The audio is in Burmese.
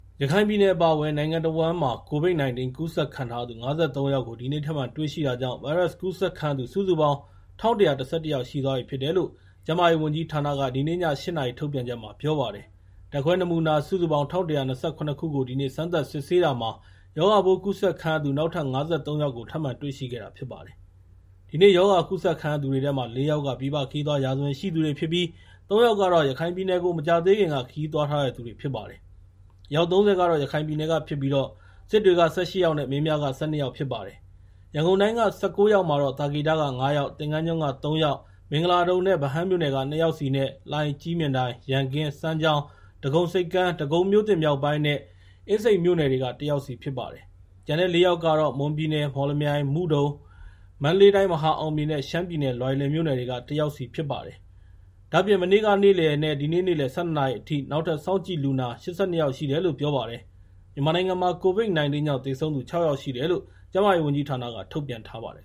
ရခိုင်ပြည်နယ်အပါအဝင် နိုင်ငံတဝန်းမှာ COVID-19 ကူးစက်ခံထားရသူ ၅၃ ယောက် ဒီနေ့ထပ်မံတွေရှိတာကြောင့် ဗိုင်းရပ်စ်ကူးစက်ခံရသူ စုစုပေါင်း ၁,၁၁၁ ယောက်ရှိသွားပြီဖြစ်တယ်လို့ ကျန်းမာရေးဝန်ကြီးဌာနက ဒီနေ့ည ၈ နာရီ ထုတ်ပြန်ချက်မှာ ပြောပါတယ်။ ဓာတ်ခွဲနမူနာ ၁,၁၂၇ ခုကို ဒီနေ့ စမ်းသပ်စစ်ဆေးတာမှာ ရောဂါပိုးကူးစက်ခံရသူ နောက်ထပ် ၅၃ ယောက်ကို ထပ်မံတွေ့ရှိခဲ့တာဖြစ်ပါတယ်။ ဒီနေ့ရောဂါကူးစက်ခံရတဲ့သူတွေထဲမှာ ၄ ယောက်က ပြည်ပခရီးသွား ရာဇဝင်ရှိသူတွေဖြစ်ပြီး ၃ ယောက်ကတော့ ရခိုင်ပြည်နယ်ကို မကြာသေးခင်က ခရီးသွားထားသူတွေဖြစ်ပါတယ်။ အယောက် ၃၀ က ရခိုင်ပြည်နယ်ကဖြစ်ပြီး စစ်တွေက ၁၈ ယောက် နဲ့ မင်းပြားက ၁၂ ယောက်ဖြစ်ပါတယ်။ ရန်ကုန်တိုင်းက ၁၉ ယောက်မှာတော့ သာကေတက ၅ ယောက်၊ သင်္ဃန်းကျွန်း ၃ ယောက် ၊ မင်္ဂလာဒုံနဲ့ ဗဟန်းမြို့နယ်က ၂ ယောက်စီနဲ့ လှိုင်၊ ကြည့်မြင်တိုင်၊ ရန်ကင်း၊ စမ်းချောင်း၊ ဒဂုံဆိပ်ကမ်း၊ ဒဂုံမြောက်ပိုင်းနဲ့ အင်းစိန်မြို့နယ်တွေက ၁ ယောက်စီဖြစ်ပါတယ်။ ကျန်တဲ့ ၄ ယောက်ကတော့ မွန်ပြည်နယ် မော်လမြိုင်၊ မုဒုံ၊ မန္တလေးတိုင်း မဟာအောင်မြေ နဲ့ ရှမ်းပြည်နယ် လွိုင်လင်မြို့နယ်တွေက ၁ ယောက်စီဖြစ်တယ်လို့ ပြောပါတယ်။ ဒါ့အပြင် မနေ့ကနဲ့ ဒီနေ့ နေ့လယ် ၁၂ နာရီအထိ နောက်ထပ် စောင့်ကြည့်လူနာ ၈၂ ယောက် ရှိတယ်လို့ ပြောပါတယ်။ မြန်မာနိုင်ငံမှာ COVID-19 ကြောင့် သေဆုံးသူ ၆ ယောက်ရှိတယ်လို့ ကျန်းမာရေး ဝန်ကြီးဌာနက ထုတ်ပြန်ထားပါတယ်